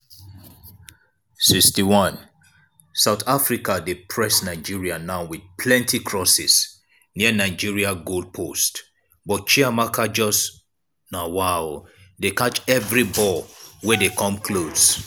61' south africa dey press nigeria now wit plenti crosses near nigeria goal post but chiamaka just dey catch evri ball wey dey come close.